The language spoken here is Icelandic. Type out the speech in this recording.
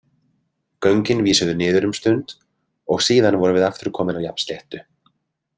Göngin vísuðu niður um stund og síðan vorum við aftur komin á jafnsléttu.